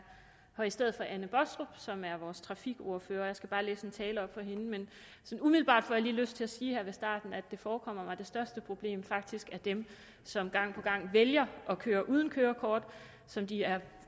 her i stedet for fru anne baastrup som er vores trafikordfører og jeg skal bare læse en tale op for hende men sådan umiddelbart får jeg lige lyst til at sige her ved starten at det forekommer mig at det største problem faktisk er dem som gang på gang vælger at køre uden kørekort som de er